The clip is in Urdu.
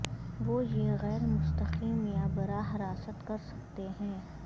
وہ یہ غیر مستقیم یا براہ راست کر سکتے ہیں